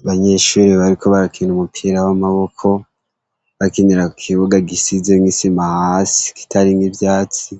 Abanyeshure bariko barakina umupira w’amaboko, bakinira kukibuga gisizemw’isima hasi kitarimw’ivyatsi,